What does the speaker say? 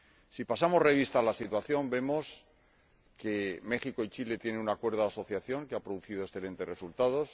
Si pasamos revista a la situación, vemos que México y Chile tienen un acuerdo de asociación que ha producido excelentes resultados.